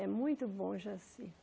É muito bom, Jaci.